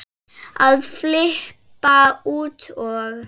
að flippa út og